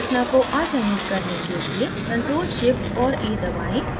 संरचना को अचयनित करने के लिए ctrl shift और a दबाएं